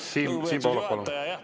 Lugupeetud juhataja!